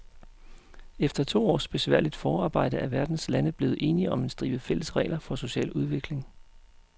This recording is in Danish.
Efter to års besværligt forarbejde er verdens lande blevet enige om en stribe fælles regler for social udvikling.